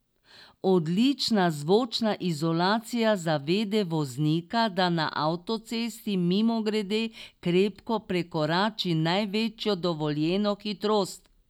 Odlična zvočna izolacija zavede voznika, da na avtocesti mimogrede krepko prekorači največjo dovoljeno hitrost.